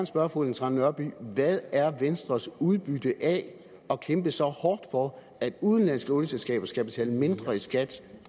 spørge fru ellen trane nørby hvad er venstres udbytte af at kæmpe så hårdt for at udenlandske olieselskaber skal betale mindre i skat